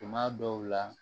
Tuma dɔw la